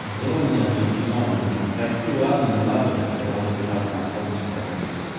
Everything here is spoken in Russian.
сделай мне одно кино ну такси ладно не надо после работы так на автобусе прокачусь